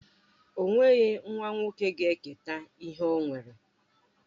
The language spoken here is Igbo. O nweghi nwa nwoke ga-eketa ihe ọ nwere